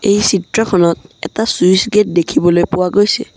এই চিত্ৰখনত এটা চুইছ গেট দেখিবলৈ পোৱা গৈছে।